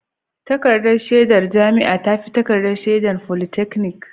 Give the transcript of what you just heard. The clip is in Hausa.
Takardar shaidar jami'a ta fi takardar shaidar polytechnic